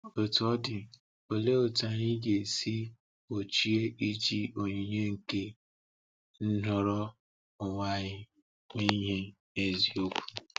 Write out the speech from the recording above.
Otú ọ dị, olee otú anyị ga-esi gbochie iji onyinye nke nhọrọ onwe anyị mee ihe n’eziokwu?